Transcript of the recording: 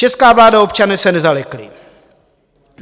Česká vláda a občané se nezalekli.